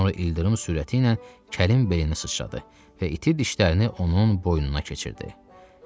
Sonra ildırım sürəti ilə kəlin beyninə sıçradı və iti dişlərini onun boynuna keçirdi.